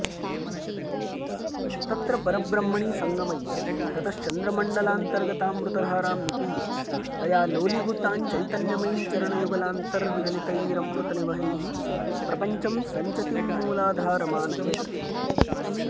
तत्र परब्रह्मणि सङ्गमय्य ततश्चन्द्रमण्डलान्तर्गतामृतधारां निपीय तया लोलीभूताञ्चैतन्यमयीञ्चरणयुगलान्तर्विगलितैरमृतनिवहैः प्रपञ्चं सञ्चतीम्मूलाधारमानयेत्